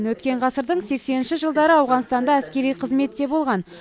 өткен ғасырдың сексенінші жылдары ауғанстанда әскери қызметте болған